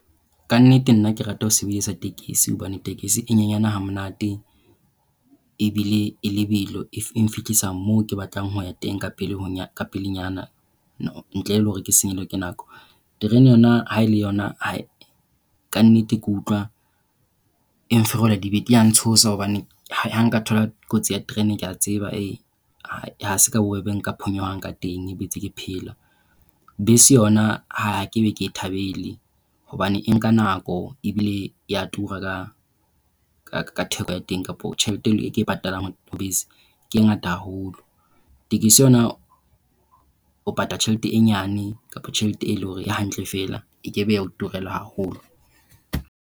Ka nnete nna ke rata ho sebedisa hobane tekesi e nyenyane ha monate ebile e lebelo. E mphehlisa moo ke batlang ho ya teng ka pele ka pelenyana ntle le hore ke senyehelwe ke nako. Terene yona ha e le yona kannete ke utlwa e mpherola dibete. E a ntshosa hobane ha nka thola kotsi ya train ke a tseba ha se bobebe nka phonyohang ka teng, e be ke ntse ke phela. Bese yona ha nkebe ke e thabele hobane e nka nako e bile ya tura ka ka theko ya teng kapa tjhelete eo ke e patalang bese ke e ngata haholo. Tekesi yona o patala tjhelete e nyane kapa tjhelete e leng hore hantle fela. Ekabe ya o turela haholo.